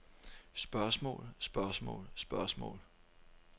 spørgsmål spørgsmål spørgsmål